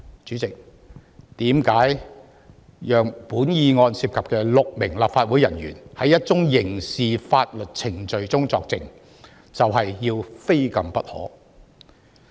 為甚麼讓涉案的6名立法會人員在一宗刑事法律程序中作證，要非禁不可？